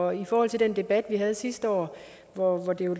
og i forhold til den debat vi havde sidste år hvor det jo